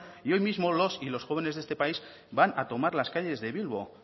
y hoy mismo los y los jóvenes de este país van a tomar las calles de bilbo